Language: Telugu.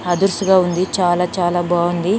అదుర్స్ గా ఉంది చాలా చాలా బాగుంది.